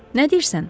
Nə deyirsən?